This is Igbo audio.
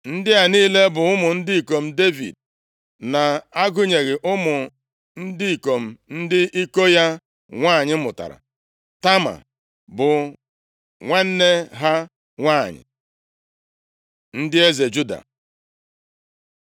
Ndị a niile bụ ụmụ ndị ikom Devid, na-agụnyeghị ụmụ ndị ikom ndị iko ya nwanyị mụtara. Tama bụ nwanne ha nwanyị. Ndị eze Juda